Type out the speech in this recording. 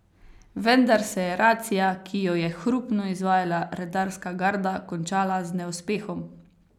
Vendar se je racija, ki jo je hrupno izvajala redarska garda, končala z neuspehom.